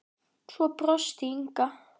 Svo brosti Inga.